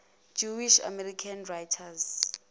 jewish american writers